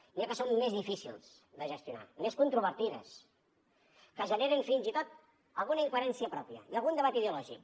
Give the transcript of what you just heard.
n’hi ha que són més difícils de gestionar més controvertides que generen fins i tot alguna incoherència pròpia i algun debat ideològic